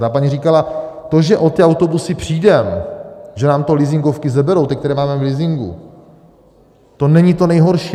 Ta paní říkala: To, že o ty autobusy přijdeme, že nám to leasingovky seberou, ty, které máme v leasingu, to není to nejhorší.